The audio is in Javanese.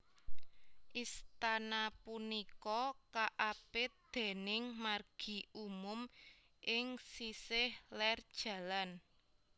Istana punika kaapit déning margi umum ing sisih lér Jl